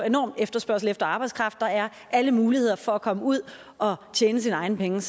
enorm efterspørgsel efter arbejdskraft der er alle muligheder for at komme ud og tjene sine egne penge